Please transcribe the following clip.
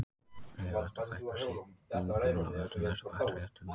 Hefur þetta fækkað sýkingum af völdum þessara baktería til muna.